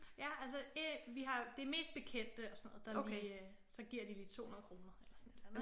Ja altså vi har det er mest bekendte og sådan noget der lige så giver de lige 200 kroner eller sådan et eller andet